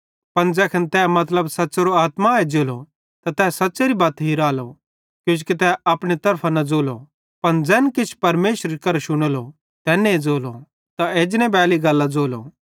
पन ज़ैखन तै मतलब सच़्च़ेरी आत्मा एज्जेली त तै सच़्च़ेरी बत हिराली किजोकि तै अपने तरफां न ज़ोली पन ज़ैखन किछ परमेशरे करां शुनेली तैन्ने ज़ोली ते एजने बैली गल्लां ज़ोली